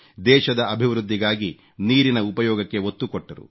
ದೇಶದ ಅಭಿವೃದ್ಧಿಗಾಗಿ ನೀರಿನ ಉಪಯೋಗಕ್ಕೆ ಒತ್ತು ಕೊಟ್ಟರು